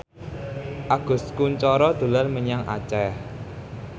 Agus Kuncoro dolan menyang Aceh